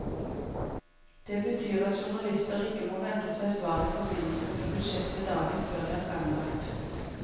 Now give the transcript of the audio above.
Det betyr at journalister ikke må vente seg svar i forbindelse med budsjettet dagen før det er fremlagt.